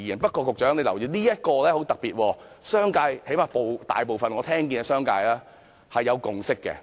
不過，局長請你留意，這一點很特別，因為最低限度我聽到商界大部分的人對此是有共識的。